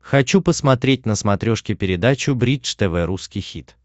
хочу посмотреть на смотрешке передачу бридж тв русский хит